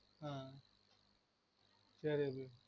ஆஹ் சேரி அபி